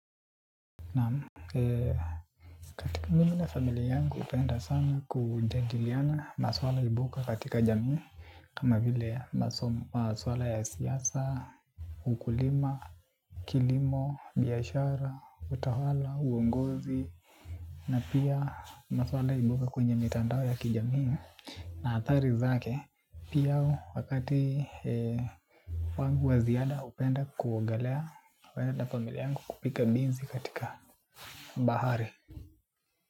Naam, mimi na familia yangu hupenda sana kujadiliana maswala ibuka katika jamii, kama vile maswala ya siasa, ukulima, kilimo, biashara, utawala, uongozi. Na pia maswala ibuka kwenye mitandao ya kijamii na athari zake pia wakati wangu wa ziada hupenda kuogelea kwenda na familia yangu kupiga bizi katika bahari.